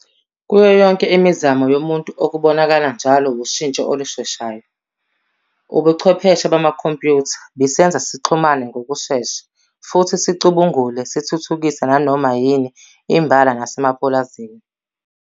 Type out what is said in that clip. Kuyo yonke imizamo yomuntu okubonakala njalo wushintsho olusheshayo. Ubuchwepheshe bamakhompyutha bisenza sixhumane ngokushesha futhi sicubungule sithuthukise nanoma yini imbala nasemapulazini.